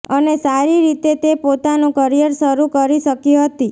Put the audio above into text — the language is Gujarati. અને સારી રીતે તે પોતાનું કરિયર શરૂ કરી શકી હતી